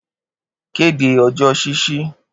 Kede ọjọ ṣiṣi